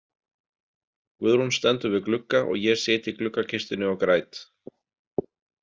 Guðrún stendur við glugga og ég sit í gluggakistunni og græt.